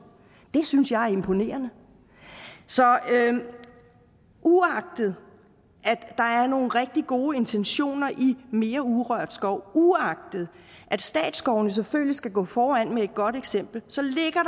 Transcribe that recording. det synes jeg er imponerende så uagtet at der er nogle rigtig gode intentioner i forslaget mere urørt skov uagtet at statsskovene selvfølgelig skal gå foran med et godt eksempel så ligger